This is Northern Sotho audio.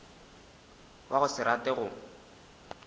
wa go se rate go